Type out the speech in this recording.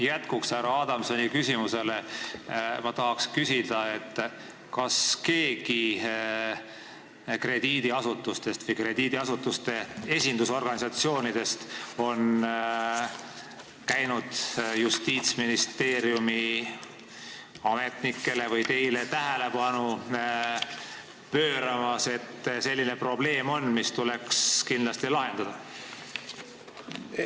Jätkuks härra Adamsi küsimusele ma tahan küsida, kas keegi krediidiasutustest või krediidiasutuste esindusorganisatsioonidest on käinud Justiitsministeeriumis ametnike või konkreetselt teie tähelepanu pööramas tõsiasjale, et selline probleem on olemas ja see tuleks kindlasti lahendada?